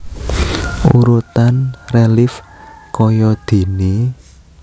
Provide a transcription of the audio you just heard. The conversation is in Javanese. Urutan relief kayadéné